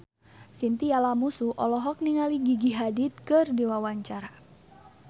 Chintya Lamusu olohok ningali Gigi Hadid keur diwawancara